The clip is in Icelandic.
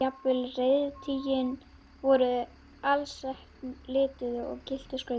Jafnvel reiðtygin voru alsett lituðu og gylltu skrauti.